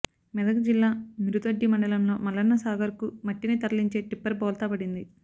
మెదక్ జిల్లా మిరుదొడ్డి మండలంలో మల్లన్న సాగర్కు మట్టిని తరలించే టిప్పర్ బోల్తా పడింది